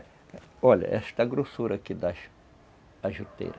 Olha, esta grossura aqui das... as juteiras.